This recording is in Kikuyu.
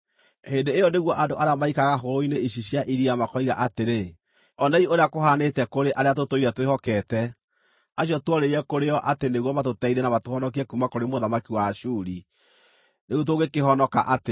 Hĩndĩ ĩyo nĩguo andũ arĩa maikaraga hũgũrũrũ-inĩ ici cia iria makoiga atĩrĩ, ‘Onei ũrĩa kũhanĩte kũrĩ arĩa tũtũire twĩhokete, acio tuorĩire kũrĩ o atĩ nĩguo matũteithie na matũhonokie kuuma kũrĩ mũthamaki wa Ashuri! Rĩu tũngĩkĩhonoka atĩa?’ ”